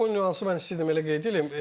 O o nüansı mən istəyirdim elə qeyd eləyim.